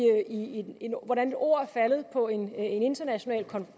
hvordan ord er faldet på en international